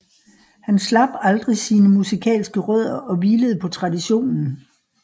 Han slap aldrig sine musikalske rødder og hvilede på traditionen